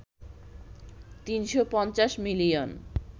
৩৫০ million